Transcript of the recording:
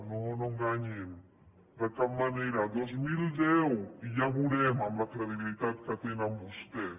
no no enganyin de cap manera el dos mil deu i ja ho veurem amb la credibilitat que tenen vostès